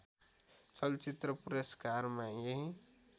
चलचित्र पुरस्कारमा यही